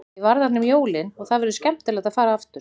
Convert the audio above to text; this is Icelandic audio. Ég var þarna um jólin og það verður skemmtilegt að fara aftur.